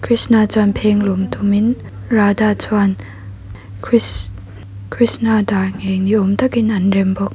krishna chuan phenglawng tum in radha chuan kris krishna dar ngheng ni awm tak in an rem bawk.